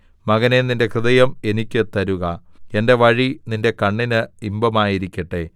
മകനേ നിന്റെ ഹൃദയം എനിക്ക് തരുക എന്റെ വഴി നിന്റെ കണ്ണിന് ഇമ്പമായിരിക്കട്ടെ